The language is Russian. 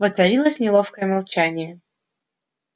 воцарилось неловкое молчание